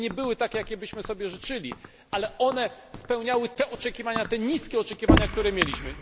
One nie były takie, jakich byśmy sobie życzyli, ale one spełniały te oczekiwania, te niskie oczekiwania, które mieliśmy.